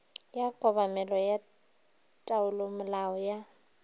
ya kobamelo ya taolomolao ya